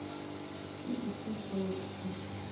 ke dife tšeo o di